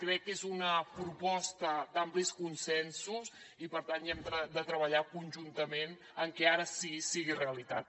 crec que és una proposta d’amplis consensos i per tant hi hem de treballar conjuntament perquè ara sí sigui realitat